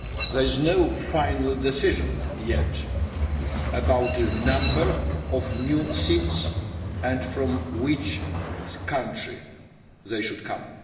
There is no final decision yet about the number of new seats and from which country they should come.